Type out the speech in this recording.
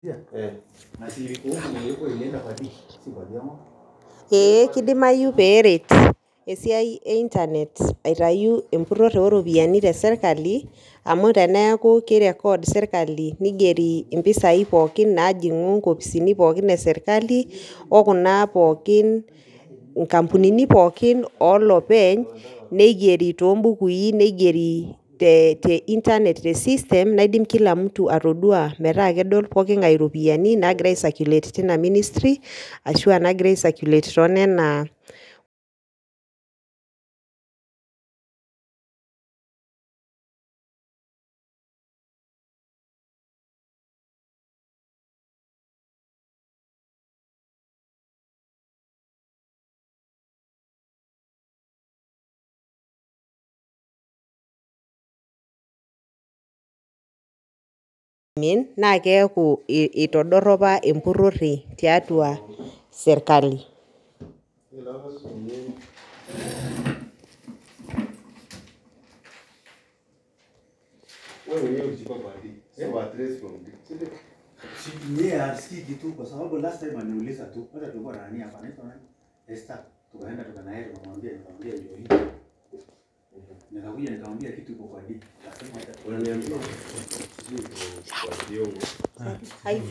Ee kidimayu pee eret esiai ee internet aitayu esiai empurore oo ropiani tee sirkali amu teneku kirecord sirkali ningerii mpisai pookin najingu nkopisini pookin esirkali okuna pookin nkampunini pookin olopeny nigeri too bukui nigeri tesistem naidim kila mtu atodua metaa kedol pooki eropiani naagira asaikulet teina ministry ashu nagira aisakulet to Nona naa keeku eitodoropa empurore tiatua sirkali